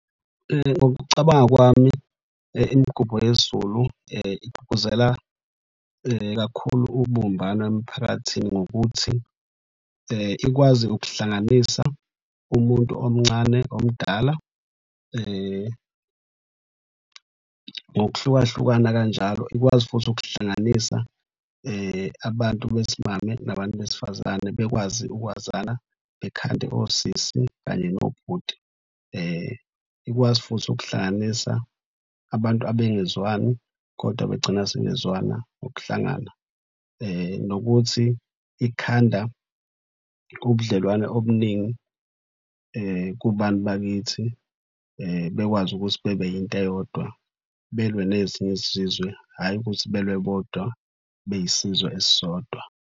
Ngokucabanga kwami imigubho yesiZulu igqugquzela kakhulu ubumbano emphakathini ngokuthi ikwazi ukuhlanganisa umuntu omncane omdala ngokuhlukahlukana kanjalo. Ikwazi futhi ukuhlanganisa abantu besimame nabantu besifazane bekwazi ukwazana bekhande osisi kanye nobhuti. Ikwazi futhi ukuhlanganisa abantu abengezwani kodwa begcina sebezwana ngokuhlangana. Nokuthi ikhanda ubudlelwane obuningi kubantu bakithi bekwazi ukuthi bebe into eyodwa belwe nezinye izizwe, hhayi ukuthi belwe bodwa beyisizwe esisodwa.